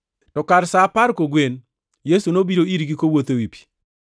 To kar sa apar kogwen, Yesu nobiro irgi, kowuotho ewi pi.